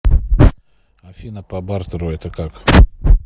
афина по бартеру это как